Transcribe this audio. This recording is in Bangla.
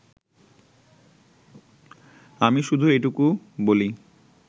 আমি শুধু এটুকু বলি